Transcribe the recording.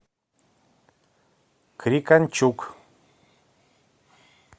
крикончук